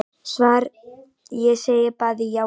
Svar Ég segi bæði já og nei.